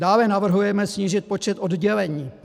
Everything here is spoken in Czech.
Dále navrhujeme snížit počet oddělení.